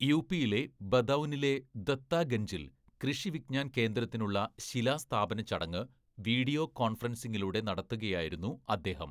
യുപിയിലെ ബദൗനിലെ ദത്താഗൻജിൽ കൃഷി വിജ്ഞാൻ കേന്ദ്രത്തിനുള്ള ശിലസ്ഥാപനചടങ്ങ് വീഡിയോ കോൺഫറൻസിങ്ങിലൂടെ നടത്തുകയായിരുന്നു അദ്ദേഹം.